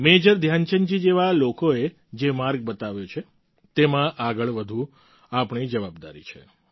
major ધ્યાનચંદજી જેવા લોકોએ જે માર્ગ બતાવ્યો છે તેમાં આગળ વધવું આપણી જવાબદારી છે